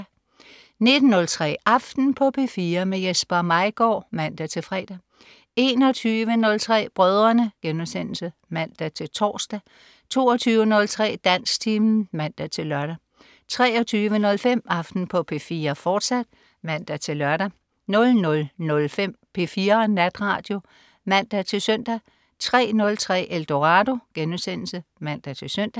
19.03 Aften på P4. Jesper Maigaard (man-fre) 21.03 Brødrene* (man-tors) 22.03 Dansktimen (man-lør) 23.05 Aften på P4, fortsat (man-lør) 00.05 P4 Natradio (man-søn) 03.03 Eldorado* (man-søn)